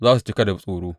Za su cika da tsoro.